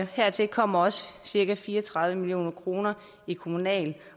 hertil kommer cirka fire og tredive million kroner i kommunal